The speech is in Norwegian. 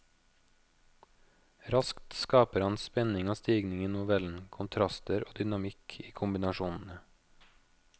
Raskt skaper han spenning og stigning i novellen, kontraster og dynamikk i kombinasjonene.